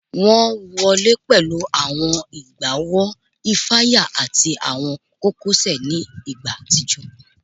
Wọn wọle pẹlu awọn egbaowo ifaya ati awọn kokosẹ ni igba atijọ